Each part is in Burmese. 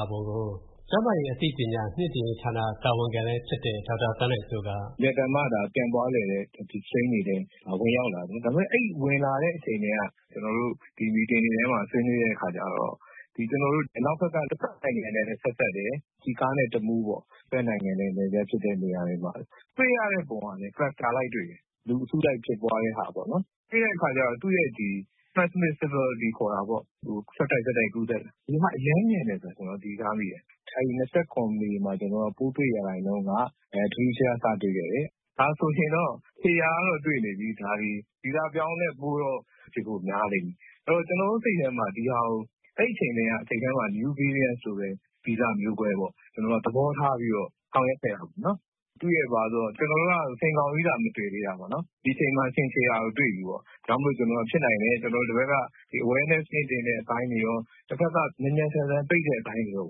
ာပုံကို ကျန်းမာရေး အသိပညာ မြှင့်တင်ရေးဌာန တာဝန်ခံလည်းဖြစ်တဲ့ ဒေါက်တာ သန်းနိုင်စိုးက “အင်မတန်မှ ပြန့်ပွားလွယ်တဲ့ ဒီ Strain အနေနဲ့ ဝင်ရောက်လာတယ် ဒါပေမယ့် အဲဒီ ဝင်လာတဲ့အချိန်ကတည်းက ကျနော်တို့ Meeting တွေထဲမှာ ဆွေးနွေးတဲ့အခါကျတော့ ကျနော်တို့ အနောက်ဘက်က တဖက်နိုင်ငံနဲ့လည်း ဆက်စပ်တယ် ၊ ကျီခါးနဲ့ တမူးတို့ပေါ့ တဖက်နိုင်ငံနဲ့ နယ်စပ်ဖြစ်တဲ့နေရာတွေမှာ။ တွေ့ရတဲ့ပုံတွေကလည်း Cluster လိုက်တွေ့တယ် လူအစုလိုက်ဖြစ်ပွားတာပေါ့နော်။ ပြီးတဲ့အခါကျတော့ သူ့ရဲ့ Transmissibility ခေါ်တာပေါ့နော် ဆက်တိုက်ကူးစက်တာက အရမ်းမြန်တယ်ဆိုတာ ကျနော်သတိထားမိတယ်။ အဲဒီ ၂၇ မေမှာ ကျနော်တို့ပိုး တွေ့ရာခိုင်နှုန်းက ထူးထူးခြားခြား စတွေ့ခဲ့တယ်။ ဒါဆိုရင်တော့ ခြေရာကတော့ တွေ့နေပြီ ဗီဇပြောင်းတဲ့ပိုးတော့ ဖြစ်ဖို့များနေပြီ။ ဆိုတော့ ကျနော်တို့ စိတ်ထဲမှာ ဒါကို အဲဒီအချိန်ထဲက New Variant ဆိုပြီးပဲ ဗီဇမျိုးကွဲ ပေါ့ သဘောထားပြီးတော့ ဆောင်ရွက်ခဲ့တာပေါ့နော်။ သူ့ရဲ့ ဘာလဲဆိုတော့ ကျနော်တို့က ဆင်ကောင်ကြီးသာ မတွေ့သေးတာပေါ့နော် ဒီအချိန်မှာ ဆင်ခြေရာကို တွေ့ပြီပေါ့နော်။ ဒါကြောင့်မို့ ကျနော်တို့က ဖြစ်နိုင်တယ် ဒီဘက်က Awareness မြင့်တင်တဲ့အပိုင်းတွေရော တဖက်က မြန်မြန်ဆန်ဆန် ပိတ်တဲ့အပိုင်းတွေရော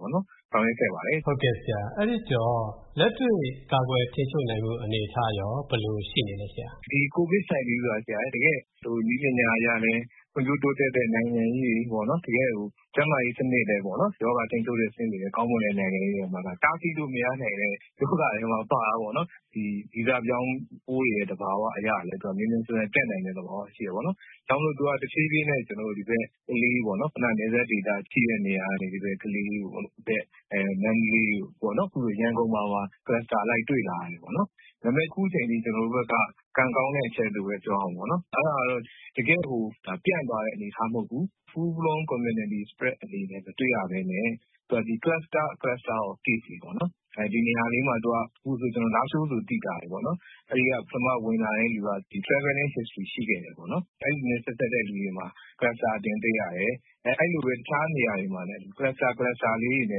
ဆောင်ရွက်ခဲ့ပါတယ်။ ကိုဝင်းမင်း။ ။ ဟုတ်ကဲ့ဆရာ အဲဒီတော့ လက်တွေ့ကာကွယ်ထိန်းချုပ်နိုင်မှု အနေအထားရော ဘယ်လိုရှိနေသလဲ ဆရာ။ ဒေါက်တာ သန်းနိုင်စိုး။ ။ ဒီ COVID က တကယ့်နည်းပညာတွေ ဖွံ့ဖြိုးတိုးတက်တဲ့ နိုင်ငံကြီးတွေ ၊ တကယ့် ကျန်းမာရေးစနစ်နဲ့ ရောဂါထိန်းချုပ်မူတွေ ကောင်းမွန်တဲ့ နိုင်ငံကြီးတွေမှာတောင်မှ တားဆီးလို့မရနိုင်တဲ့ ရောဂါမှာ ပါတာပေါ့နော်။ ဗီဇပြောင်းပိုး သဘာဝအရလည်း မြန်မြန်ဆန်ဆန် ပျံ့နိုင်တဲ့ သဘောရှိတယ်ပေါ့နော်။ ဒါကြောင့်မို့လို့ တဖြေးဖြေးးနဲ့ ကလေးမြို့ပေါ့နော် ခုနက နယ်စပ်ဒေသ ဘက်ကနေ ကလေးတို့ မန္တလေးတို့ ၊ အခု ရန်ကုန်မှာပါ Cluster လိုက်တွေ့လာနေတယ်ပေါ့နော်။ ဒါပေမယ့် အခုအချိန်အထိ ကျနော်တို့ဘက်က ကံကောင်းတဲ့အချက်လို့ပဲ ပြောရမှာပေါ့နော် အဲဒါကတော့ တကယ့်ကို ပျံ့တဲ့အနေအထားမဟုတ်ဘူး Full-blown Community Spread အနေနဲ့ မတွေ့ရပဲနဲ့ Cluster of Case တွေပေါ့နော် ။ ဒီနေရာလေးမှာ အခုဆိုရင် လားရှိုးဆိုရင် သိသာတယ်ပေါ့နော်။ အဲဒီက ပထမဝင်လာသူက Traveling History ရှိခဲ့တယ်ပေါ့နော်။ အဲဒီလူနဲ့ ဆက်စပ်တဲ့လူတွေမှာ cluster အသွင်တွေ့ရတယ်။ အဲလိုပဲ တခြားနေရာလေးတွေမှာလည်း Cluster အသွင်တွေ့နေ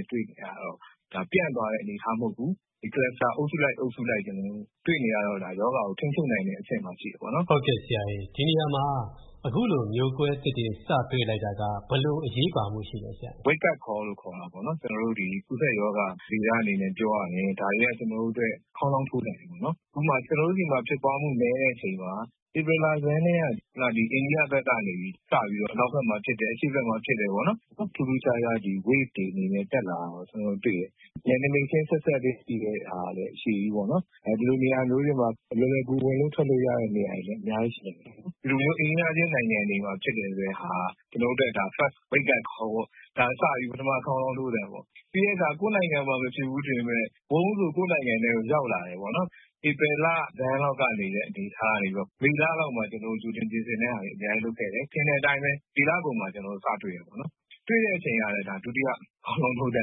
ရတော့ ဒါက ပြန့်သွားတဲ့ အနေအထားမဟုတ်ဘူး Cluster အုပ်စုလိုက် အုပ်စုလိုက် တွေ့နေရာတော့ ရောဂါကို ထိန်းချုပ်နိုင်တဲ့အဆင့်မှာရှိတယ်ပေါ့နော်။ ကိုဝင်းမင်း။ ။ ဟုတ်ကဲ့ဆရာရေ ဒီနေရာမှာ အခုလိုမျိုးကွဲသစ်တွေ စတွေ့လိုက်တာက ဘယ်လိုအရေးပါမှု ရှိသလဲဆရာရေ။ ဒေါက်တာ သန်းနိုင်စိုး။ ။ Wakeup call လို့ခေါ်တာပေါ့နော် ကျနော်တို့ဒီ ကူးစက်ရောဂါ ဗေဒအနေနဲ့ပြောရရင် ဒါက ကျနော်တို့အတွက် ခေါင်းလောင်းထိုးသံပေါ့နော် ။ ဥပမာ ကျနော်တို့ဆီမှာ ဖြစ်ပွားမှု နည်းတဲ့အချိန်မှာ ဧပြီလဆန်းကတည်းက အိန္ဒိယဘက်မှာစပြီးတော့ အနောက်ဘက်မှာ ဖြစ်တယ် အရှေ့ဘက်မှာဖြစ်တယ်။ ထူးထူးခြားခြား Wave တွေအနေနဲ့ တက်လာတာကို တွေ့တယ်။ နယ်နမိတ်ချင်း ဆက်စပ်တာကလည်း အရှည်ကြီးပေါ့နော်။ ဒီလိုနေရာမျိုးတွေမှာ လွယ်လွယ်ကူကူ ဝင်လို့ထွက်လို့ရတဲ့နေရာတွေလည်း အများကြီးရှိနိုင်တယ်။ ဒီလိုမျိုး အိမ်နီးနားချင်းနိုင်ငံတွေမှာ ဖြစ်တယ်ဆိုတာက ကျနော်တို့အတွက် ဒါက First Wakeup call ပေါ့နော် ဒါစပြီးတော့ ပထမ ခေါင်းလောင်းထိုးသံပေါ့ ။ ပြီးတဲ့အခါ ကိုယ့်နိုင်ငံမှာ မဖြစ်ဘူးထင်ပေမယ့် ဝုန်းဆိုပြီး ကိုယ့်နိုင်ငံမှာ ရောက်လာတယ်ပေါ့နော်။ ဧပြီလဆန်းလောက်က အနေအထားကနေပြီးတော့ မေလလောက်မှာ ကြိုတင်ပြင်ဆင်တာတွေ အများကြီးလုပ်ခဲ့တယ်။ ထင်တဲ့အတိုင်းပဲ မေလကုန်မှာ စတွေ့တယ်ပေါေ့နာ်။ တွေ့တဲ့အချိန်ကလည်း ဒုတိယ ခေါင်းလောင်းထိုးသံ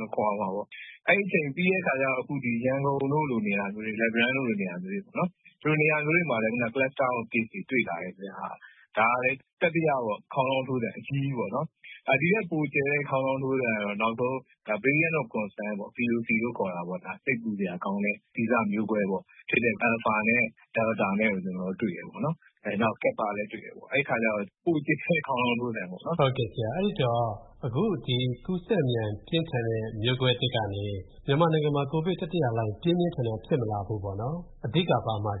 လို့ခေါ်ရမှာပေါ့။ အဲဒီအချိန်ပြီးတဲ့အခါကျတော့ အခု ဒီ ရန်ကုန်တို့လိုနေရာမျိုး၊ လက်ပံတန်းတို့လိုနေရာမျိုးမှာ Cluster of Case တွေ တွေ့လာတယ်ပေါ့နော်။ ဒါကလည်း တတိယ ခေါင်းလောင်းထိုးသံ အကြီးကြီးပေါ့နော်။ ဒီထက်ပိုကျယ်တဲ့ ခေါင်းလောင်းထိုးသံက Variants of Concern ပေါ့နော် ဒါက စိတ်ပူစရာကောင်းတဲ့ ဗီဇမျိုးကွဲပေါ့ Alpha နဲ့ Delta နဲ့ကို ကျနော်တို့ တွေ့တယ်ပေါ့နော်။ နောက် Kappa လည်းတွေ့တယ်ပေါ့နော် အဲဒီအခါကျတော့ ပိုကျယ်တဲ့ ခေါင်းလောင်းထိုးသံပေါ့နော်။ ကိုဝင်းမင်း။ ။ ဟုတ်ကဲ့ဆရာ အဲဒီတော့ အခုဒီ ကူးစက်မြန်ပြင်းထန်တဲ့ မျိုးကွဲသစ်ကနေ မြန်မာနိုင်ငံမှာ ပြင်းပြင်းထန်ထန် COVID တတိယလှိုင်းမဖြစ်လာဖို့ပေါ့နော် အဓိက ဘာမှာချင်